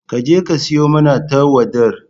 Ka je ka siyo mana tauwadar